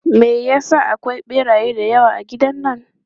Me ya sa akwai ɓeraye da yawa a gidan nan?